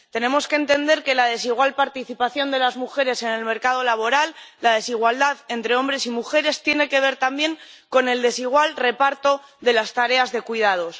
Tenemos que entender que la desigual participación de las mujeres en el mercado laboral y la desigualdad entre hombres y mujeres tienen que ver, también, con el desigual reparto de las tareas de cuidados.